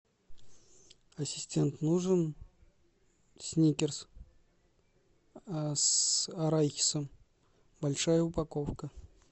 ассистент нужен сникерс с арахисом большая упаковка